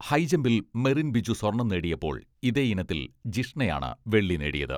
ഹൈജമ്പിൽ മെറിൻ ബിജു സ്വർണ്ണം നേടിയപ്പോൾ ഇതേ ഇനത്തിൽ ജിഷ്ണയാണ് വെള്ളി നേടിയത്.